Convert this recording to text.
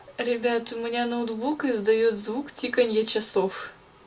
ребят у меня ноутбук издаёт звук тиканья часов